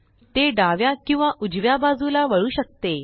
ते डाव्या किंवा उजव्या बाजूला वळू शकते